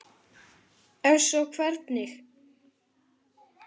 Ef svo er, hvernig?